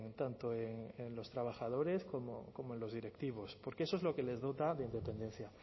tanto en los trabajadores como en los directivos porque eso es lo que les dota de independencia